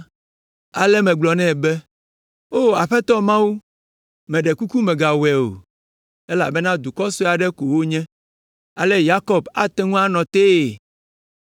Ale megblɔ nɛ be, “O Aƒetɔ Mawu, meɖe kuku mègawɔe o, elabena dukɔ sue aɖe ko wònye!” Aleke Yakob ate ŋu anɔ tee?